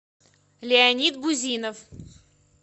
леонид бузинов